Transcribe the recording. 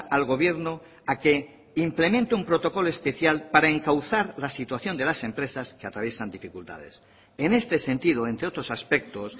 al gobierno a que implemente un protocolo especial para encauzar la situación de las empresas que atraviesan dificultades en este sentido entre otros aspectos